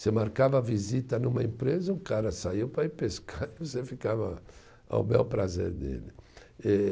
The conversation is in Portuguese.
Você marcava visita numa empresa, o cara saiu para ir pescar e você ficava ao bel prazer dele. Eh